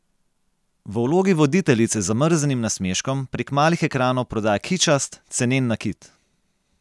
V vlogi voditeljice z zamrznjenim nasmeškom prek malih ekranov prodaja kičast, cenen nakit.